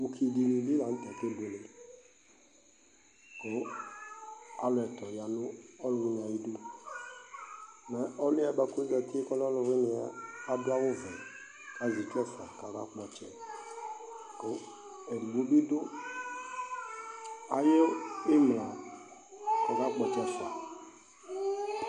Ʋki di ni bi la nʋ tɛ kʋ akebuele kʋ alʋ ɛtʋ ya nʋ ɔlʋwini yɛ ayidu Mɛ ɔlʋ yɛ boa kʋ ozati kʋ ɔlɛ ɔlʋwini ɛ, adʋ awʋ vɛ kʋ azɛ itsu ɛfua kʋ ɔkakpɔ ɔtsɛ, kʋ ɛdigbo bi dʋ ayʋ imla kʋ ɔkakpɔ ɔtsɛ ɛfua